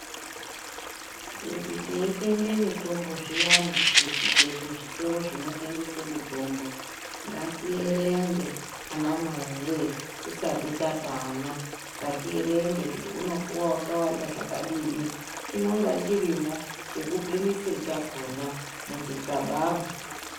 Kuti teitenge mitombo zviyane kuzvitoro zvinotengese mitombo ,ngatierenge ana mai we tisati tapa ana .Ngatienrenge kuti unopuwa wakawanda zvakadini. Chinonga chirimwo chekupimisa chakona muchigaba mwo.